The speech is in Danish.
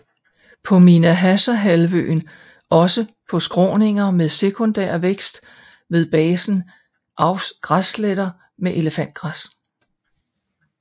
På Minahasahalvøen også på skråninger med sekundærvækst ved basen avf græsletter med elefantgræs